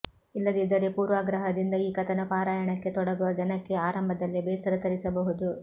ಇಲ್ಲದಿದ್ದರೆ ಪೂರ್ವಾಗ್ರಹದಿಂದ ಈ ಕಥನ ಪಾರಾಯಣಕ್ಕೆ ತೊಡಗುವ ಜನಕ್ಕೆ ಆರಂಭದಲ್ಲೇ ಬೇಸರ ತರಿಸಬಹುದು